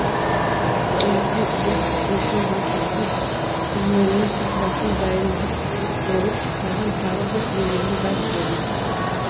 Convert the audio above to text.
терісін іреп етін бөлшектеп сірненің сұлбасын дайын ғып болып саған тағы бір берерім бар деді